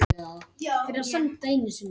Glóa, pantaðu tíma í klippingu á fimmtudaginn.